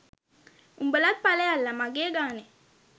උඹලත් පලයල්ල මගේ ගානෙ